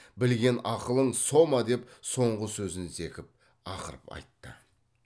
білген ақылың со ма деп соңғы сөзін зекіп ақырып айтты